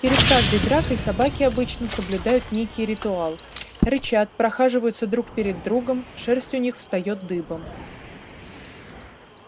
перед каждой дракой собаки обычно соблюдают некий ритуал рычат прохаживаются друг перед другом шерсть у них встаёт дыбом